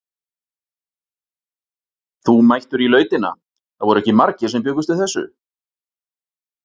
Þú mættur í Lautina, það voru ekki margir sem bjuggust við þessu?